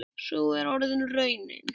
Sú er orðin raunin.